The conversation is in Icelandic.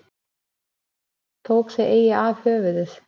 Tók þó eigi af höfuðið.